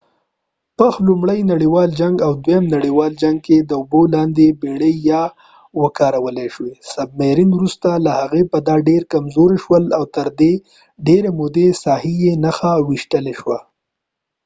پخ لومړي نړیوال جنګ او دویم نړیوال جنګ کې د اوبو لاندې بیړۍ یا submarines ووکارول شوی وروسته له هغې بیا دا ډیر کمزوري شول او تر ډیرې محدودې ساحې یې نښه ویشتلی شوه